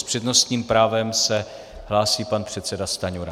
S přednostním právem se hlásí pan předseda Stanjura.